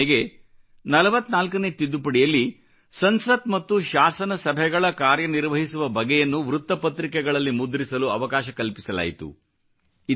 ಉದಾಹರಣೆಗೆ 44 ನೇ ತಿದ್ದುಪಡಿಯಲ್ಲಿ ಸಂಸತ್ ಮತ್ತು ಶಾಸನ ಸಭೆಗಳ ಕಾರ್ಯನಿರ್ವಹಿಸುವ ಬಗೆಯನ್ನು ವೃತ್ತ ಪತ್ರಿಕೆಗಳಲ್ಲಿ ಮುದ್ರಿಸಲು ಅವಕಾಶ ಕಲ್ಪಿಸಲಾಯಿತು